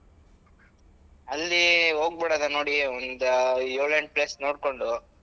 ಅಲ್ಲಿ ಹೋಗ್ಬಿಡೋದಾ ನೋಡಿ ಒಂದ್ ಯೋಳ್ ಎಂಟ್ place ನೋಡ್ಕೊಂಡು.